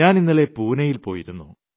ഞാൻ ഇന്നലെ പൂനെയിൽ പോയിരുന്നു